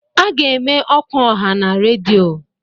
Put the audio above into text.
A ga-eme ọkwa ọha na redio